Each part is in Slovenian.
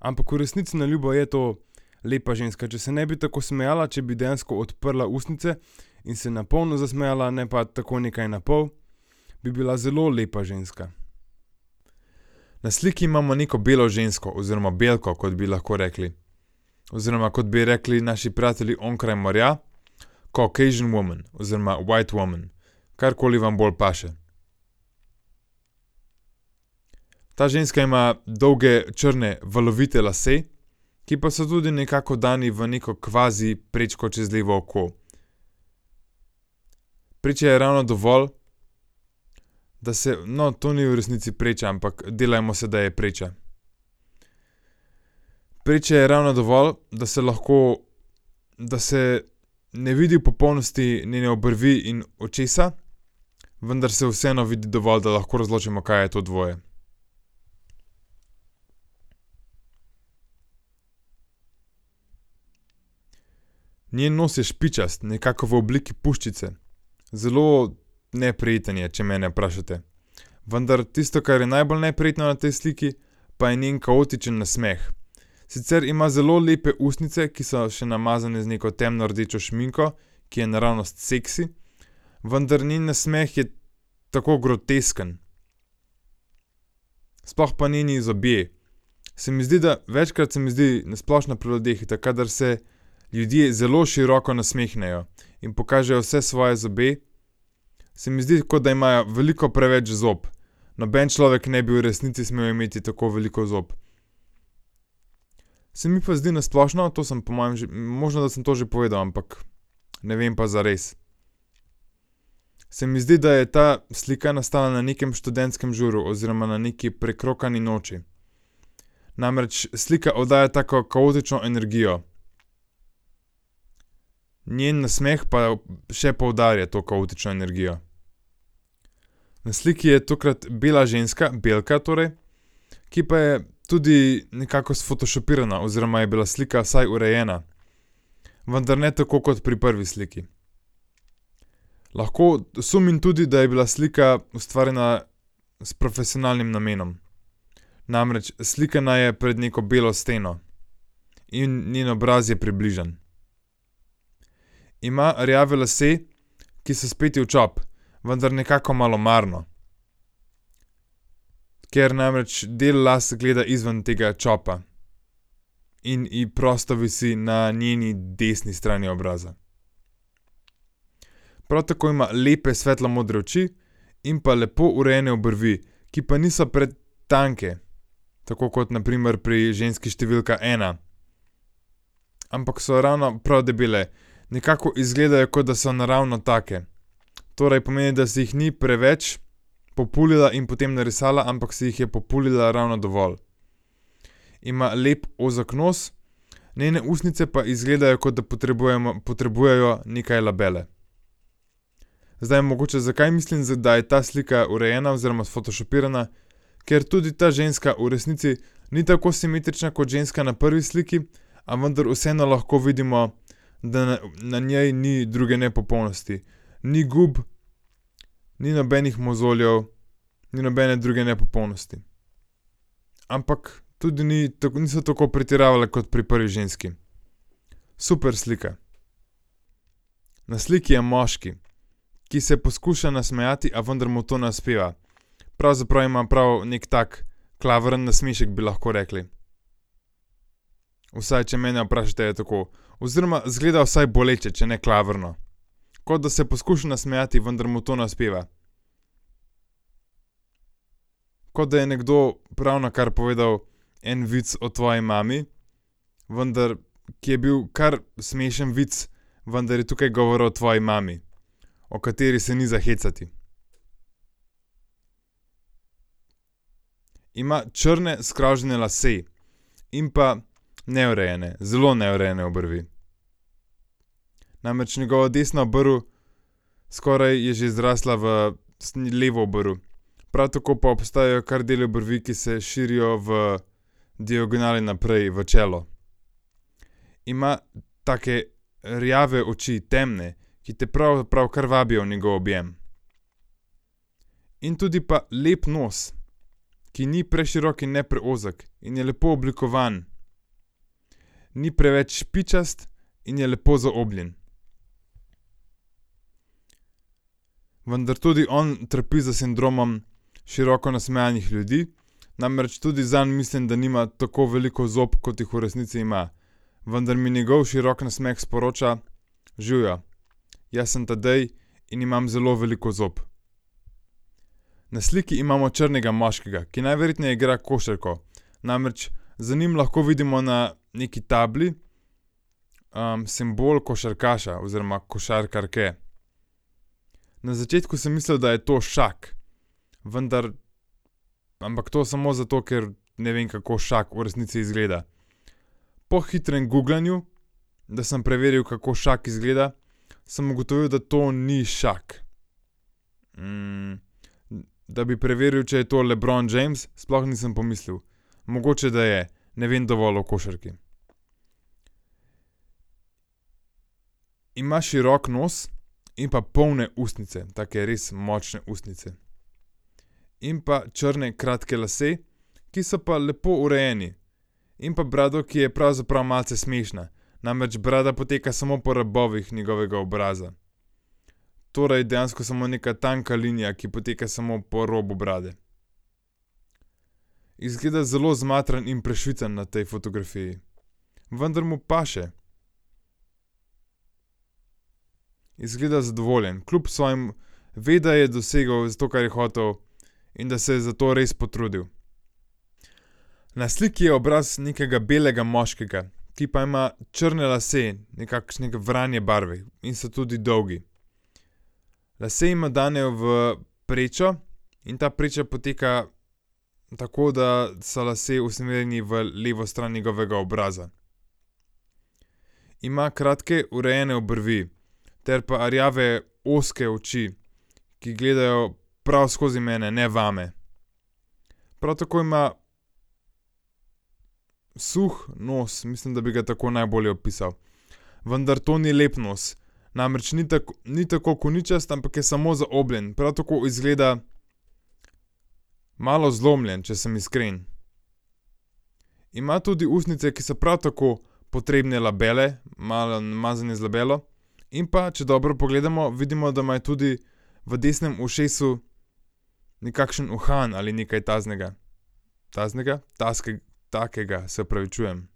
Ampak v resnici na ljubo je to lepa ženska, če se ne bi tako smejala, če bi dejansko odprla ustnice in se na polno zasmejala, ne pa tako nekaj na pol, bi bila zelo lepa ženska. Na sliki imamo neko belo žensko oziroma belko, kot bi lahko rekli. Oziroma, kot bi ji rekli naši prijatelji onkraj morja, Caucasian woman oziroma white woman. Karkoli vam bolj paše. Ta ženska ima dolge, črne, valovite lase, ki pa so tudi nekako dani v neko kvaziprečko čez levo oko. Preče je ravno dovolj, da se, no, to ni v resnici preča, ampak delajmo se, da je preča. Preče je ravno dovolj, da se lahko, da se ne vidi v popolnosti njene obrvi in očesa, vendar se vseeno vidi dovolj, da lahko razločimo, kaj je to dvoje. Njen nos je špičast, nekako v obliki puščice. Zelo neprijeten je, če mene vprašate. Vendar tisto, kar je najbolj neprijetno na tej sliki, pa je njen kaotičen nasmeh. Sicer ima zelo lepe ustnice, ki so še namazane z neko temno rdečo šminko, ki je naravnost seksi, vendar njen nasmeh je tako grotesken. Sploh pa njeni zobje. Se mi zdi, da, večkrat se mi zdi na splošno pri ljudeh, kadar se ljudje zelo široko nasmehnejo in pokažejo vse svoje zobe, se mi zdi, kot da imajo veliko preveč zob. Noben človek ne bi v resnici smel imeti tako veliko zob. Se mi pa zdi na splošno, to sem po mojem možno, da sem to že povedal, ampak ne vem pa zares. Se mi zdi, da je ta slika nastala ne nekem študentskem žuru oziroma na neki prekrokani noči. Namreč slika oddaja tako kaotično energijo. Njen nasmeh pa je v še poudarja to kaotično energijo. Na sliki je tokrat bila ženska, belka torej, ki pa je tudi nekako sfotošopirana oziroma je bila slika vsaj urejena. Vendar ne tako kot pri prvi sliki. Lahko sumim tudi, da je bila slika ustvarjena s profesionalnim namenom. Namreč slikana je pred neko belo steno. In njen obraz je približan. Ima rjave lase, ki so speti v čop. Vendar nekako malomarno. Ker namreč del las gleda izven tega čopa. In je prosto visi na njeni desni strani obraza. Prav tako ima lepe svetlo modre in pa lepo urejene obrvi, ki pa niso pretanke. Tako kot na primer pri ženski številka ena. Ampak so ravno prav debele. Nekako izgledajo, kot da so naravno take. Torej pomeni, da si jih ni preveč populila in potem narisala, ampak si jih je populila ravno dovolj. Ima lep ozek nos, njene ustnice pa izgledajo, kot da potrebujemo, potrebujejo nekaj labella. Zdaj mogoče, zakaj mislim, da je ta slika urejena oziroma sfotošopirana, ker tudi ta ženska v resnici ni tako simetrična kot ženska na prvi sliki, a vendar vseeno lahko vidimo, da na njej ni druge nepopolnosti. Ni gub, ni nobenih mozoljev, ni nobene druge nepopolnosti. Ampak tudi ni niso tako pretiravali kot pri prvi ženski. Super slika. Na sliki je moški, ki se poskuša nasmejati, a vendar mu to ne uspeva. Pravzaprav ima prav neki tak klavrn nasmešek, bi lahko rekli. Vsaj, če mene vprašate, je tako oziroma izgleda vsaj boleče, če ne klavrno. Kot da se je poskušal nasmejati, vendar mu to ne uspeva. Kot da je nekdo ravnokar povedal en vic o tvoji mami, vendar, ki je bil kar smešen vic, vendar je tukaj govoril o tvoji mami. O kateri se ni za hecati. Ima črne skravžane lase in pa neurejene, zelo neurejene obrvi. Namreč njegova desna obrv skoraj je že zrasla v levo obrv. Prav tako pa obstajajo kar deli obrvi, ki se širijo v diagonale naprej v čelo. Ima take rjave oči, temne, ki te prav kar vabijo v njegov objem. In tudi pa lep nos, ki ni preširok in ne preozek. In je lepo oblikovan. Ni preveč špičast in je lepo zaobljen. Vendar tudi on trpi za sindromom široko nasmejanih ljudi, namreč tudi zanj mislim, da nima tako veliko zob, kot jih v resnici ima. Vendar mi njegov širok nasmeh sporoča: "Živjo, jaz sem Tadej in imam zelo veliko zob." Na sliki imamo črnega moškega, ki najverjetneje igra košarko. Namreč za njim lahko vidimo na neki tabli, simbol košarkaša oziroma košarkarke. Na začetku sem mislil, da je to Shaq, vendar ampak to samo zato, ker ne vem, kako Shaq v resnici izgleda. Po hitrem guglanju, da sem preveril, kako Shaq izgleda, sem ugotovil, da to ni Shaq. da bi preveril, če je to LeBron James, sploh nisem pomislil. Mogoče, da je. Ne vem dovolj o košarki. Ima širok nos in pa polne ustnice, take res močne ustnice. In pa črne kratke lase, ki so pa lepo urejeni. In pa brado, ki je pravzaprav malce smešna. Namreč brada poteka samo po robovih njegovega obraza. Torej dejansko samo nekaj tanka linija, ki poteka samo po robu brade. Izgleda zelo zmatran in prešvican na tej fotografiji. Vendar mu paše. Izgleda zadovoljen kljub svojem ve, da je dosegli to, kar je hotel. In da se je za to res potrudil. Na sliki je obraz nekega belega moškega, ki pa ima črne lase, nekakšne vranje barve in so tudi dolgi. Lase ima dane v prečo in ta preča poteka, tako da so lasje usmerjeni v levo stran njegovega obraza. Ima kratke, urejene obrvi. Ter pa rjave ozke oči, ki gledajo prav skozi mene, ne vame. Prav tako ima suh nos, mislim, da bi ga tako najbolje opisal. Vendar to ni lep nos, namreč ni tak, ni tako koničast, ampak je samo zaobljen, prav tako izgleda malo zlomljen, če sem iskren. Ima tudi ustnice, ki so prav tako potrebne labella, malo namazane z labellom. In pa, če dobro pogledamo, vidimo, da tudi v desnem ušesu nekakšen uhan ali nekaj takega. Taznega, takega, se opravičujem.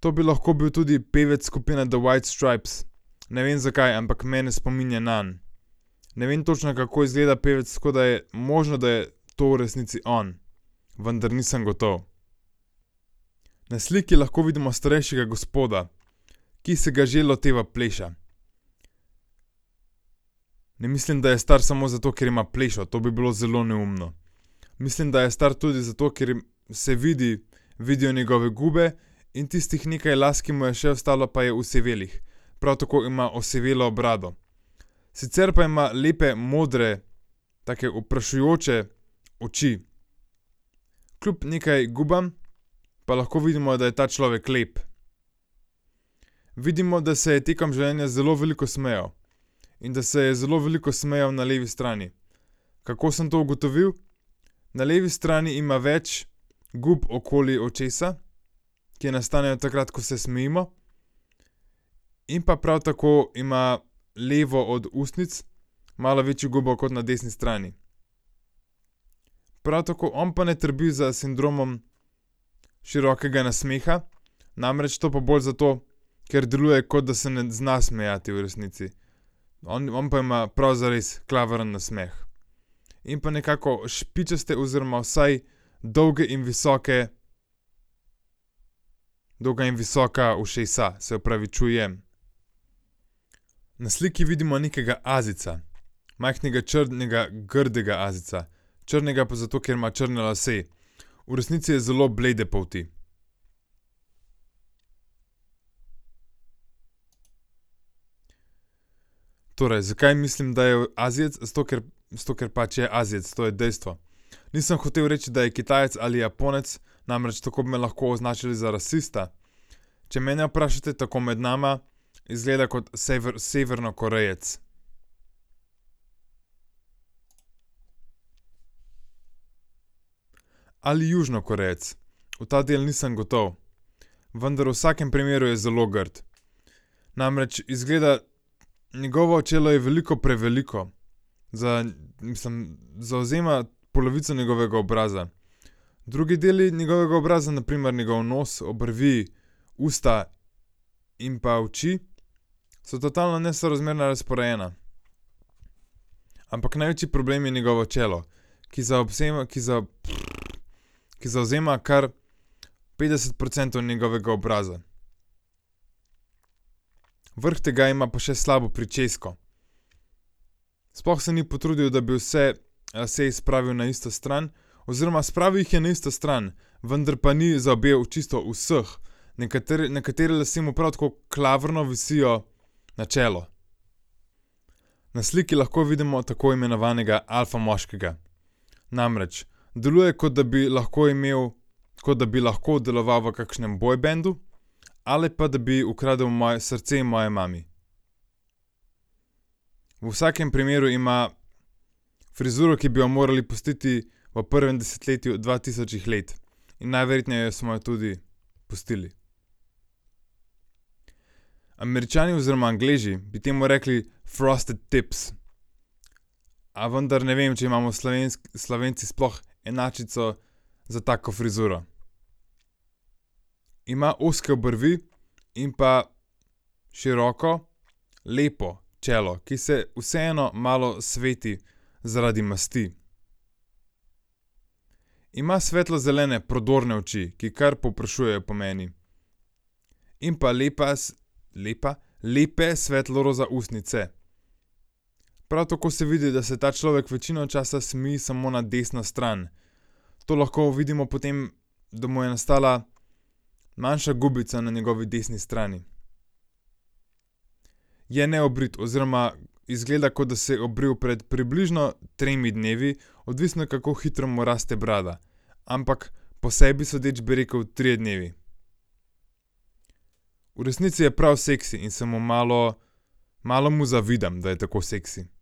To bi lahko bil tudi pevec skupine The White stripes. Ne vem, zakaj, ampak mene spominja nanj. Ne več točno, kako izgleda pevec, tako da je, možno, da je to v resnici on. Vendar nisem gotovo. Na sliki lahko vidimo starejšega gospoda, ki si ga že loteva pleša. Ne mislim, da je star samo zato, ker ima plešo, to bi bilo zelo neumno. Mislim, da je star tudi zato, ker se vidi, vidijo njegove gube in tistih nekaj las, ki mu jih je še ostalo, pa je osivelih. Prav tako ima osivelo brado. Sicer pa ima lepe modre take vprašujoče oči. Kljub nekaj gubam pa lahko vidimo, da je ta človek lep. Vidimo, da se je tekom življenja zelo veliko smejal. In da se je zelo veliko smejal na levi strani. Kako sem to ugotovil? Na levi strani ima več gub okoli očesa, ki nastanejo takrat, ko se smejimo. In pa prav tako ima levo od ustnic malo večjo gubo kot na desni strani. Prav tako on pa ne trpi za sindromom širokega nasmeha, namreč to pa bolj zato, ker deluje, kot da se ne zna smejati v resnici. On, on pa ima prav zares klavrn nasmeh. In pa nekako špičaste oziroma vsaj dolge in visoke, dolga in visoka ušesa, se opravičujem. Na sliki vidimo nekega Azijca. Majhnega črnega grdega Azijca. Črnega pa zato, ker ima črne lase. V resnici je zelo blede polti. Torej zakaj mislim, da je Azijec, zato ker, zato ker pač je Azijec, to je dejstvo. Nisem hotel reči, da je Kitajec ali Japonec, namreč tako bi me lahko označili za rasista, če mene vprašate, tako med nama, izgleda kot Severni Korejec. Ali Južni Korejec. V ta del nisem gotov. Vendar v vsakem primeru je zelo grd. Namreč izgleda, njegovo čelo je veliko preveliko za mislim zavzema polovico njegovega obraza. Drugi deli njegovega obraza, na primer njegov nos, obrvi, usta in pa oči so totalno nesorazmerno razporejeni, ampak največji problem je njegovo čelo. Ki zaobsema, ki za , ki zavzema kar petdeset procentov njegovega obraza. Vrh tega ima pa še slabo pričesko. Sploh se ni potrudil, da bi vse lase spravil na isto stran oziroma spravil jih je na isto stran, vendar pa ni zaobjel čisto vseh, nekateri lasje mu prav tako klavrno visijo na čelo. Na sliki lahko vidimo tako imenovanega alfa moškega. Namreč deluje, kot da bi lahko imel, kot da bi lahko delovali v kakšnem bojbendu ali pa da bi vgradili moje srce moji mami. V vsakem primeru ima frizuro, ki bi jo morali pustiti v prvem desetletju dva tisočih let. In najverjetneje smo jo tudi pustili. Američani oziroma Angleži bi temu rekli frosted tips. A vendar ne vem, če imamo Slovenci sploh enačico za tako frizuro. Ima ozke obrvi in pa široko lepo čelo, ki se vseeno malo sveti zaradi masti. Ima svetlo zelene prodorne oči, ki kar povprašujejo po meni. In pa lepas, lepa, lepe svetlo roza ustnice. Prav tako se vidi, da se ta človek večino časa smeji samo na desno stran. To lahko vidimo po tem, da mu je nastala manjša gubica na njegovi desni strani. Je neobrit oziroma izgleda, kot da se je obril pred približno tremi dnevi odvisno, kako hitro mu raste brada, ampak po sebi sodeč bi rekli trije dnevi. V resnici je prav seksi in se mu malo, malo mu zavidam, da je tako seksi.